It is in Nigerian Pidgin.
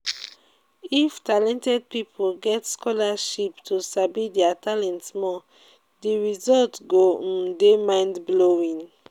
if talented pipo get scholarship to sabi their talent more di result go um de mind blowing